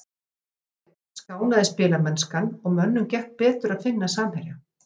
Í síðari hálfleik skánaði spilamennskan og mönnum gekk betur að finna samherja.